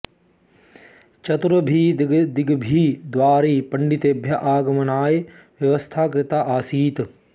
चतुर्भिः दिग्भिः द्वारैः पण्डितेभ्यः आगमनाय व्यवस्था कृता आसीत्